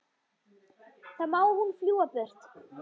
Þá má hún fljúga burtu.